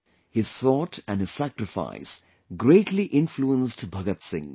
His thought and his sacrifice greatly influenced Bhagat Singh